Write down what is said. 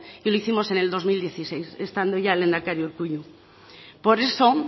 y lo hicimos en el dos mil dieciséis estando ya el lehendakari urkullu por eso